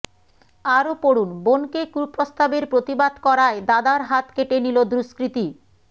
আরও পড়ুন বোনকে কুপ্রস্তাবের প্রতিবাদ করায় দাদার হাত কেটে নিল দুষ্কৃতি